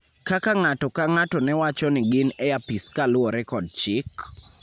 kaka ng�ato ka ng�ato ne wacho ni gin e apis kaluwore kod chik,